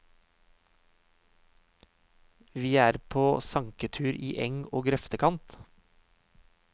Vi er på sanketur i eng og grøftekant.